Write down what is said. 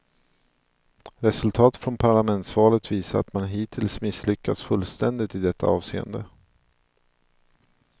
Resultatet från parlamentsvalet visar att man hittills misslyckats fullständigt i detta avseende.